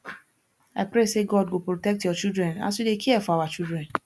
i pray sey god go protect your children as you dey care for our children